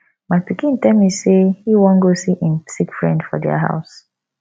my pikin tell me say e wan go see im sick friend for their house